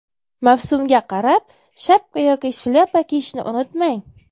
Mavsumga qarab shapka yoki shlyapa kiyishni unutmang.